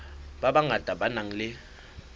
ba bangata ba nang le